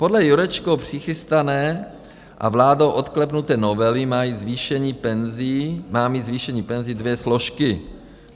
Podle Jurečkou přichystané a vládou odklepnuté novely má mít zvýšení penzí dvě složky.